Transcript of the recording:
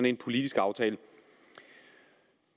en politisk aftale